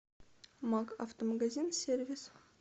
макк автомагазин сервис